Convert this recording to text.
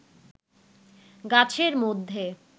গাছের মধ্যে